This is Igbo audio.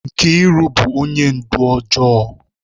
Mkiru bu onye ndu ojoo